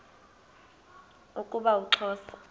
zixelelana ukuba uxhosa